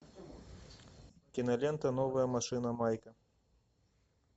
кинолента новая машина майка